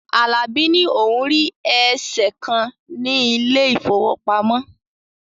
Alabi ní òun rí eèsè kan ní ilé ìfowópamọ́